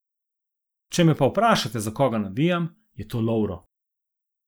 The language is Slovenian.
Če me pa vprašate, za koga navijam, je to Lovro.